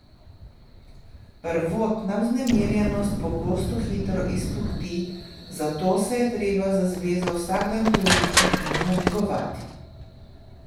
Prvotna vznemirjenost pogosto hitro izpuhti, zato se je treba za zvezo vsak dan truditi in jo negovati.